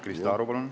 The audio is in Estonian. Krista Aru, palun!